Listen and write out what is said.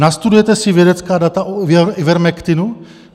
Nastudujete si vědecká data o Ivermektinu?